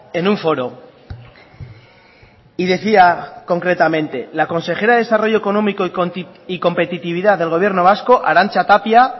en un foro y decía concretamente la consejera de desarrollo económico y competitividad del gobierno vasco arantza tapia